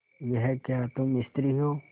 यह क्या तुम स्त्री हो